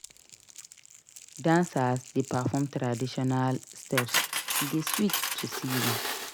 Dancers dey perform traditional steps; e dey sweet to see dem.